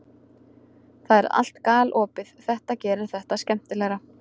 Það er allt galopið, þetta gerir þetta skemmtilegra.